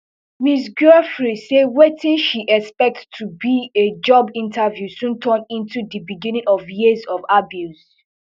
ms giuffre say wetin she expect to be a job interview soon turn into di beginning of years of abuse